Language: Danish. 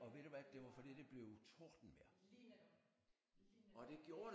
Ja det var lige netop lige netop